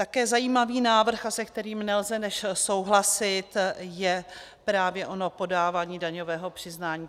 Také zajímavý návrh, se kterým nelze než souhlasit, je právě ono podávání daňového přiznání.